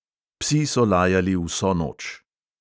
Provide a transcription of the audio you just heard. Psi so lajali vso noč.